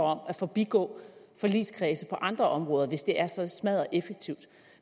om at forbigå forligskredse på andre områder hvis det er så smaddereffektivt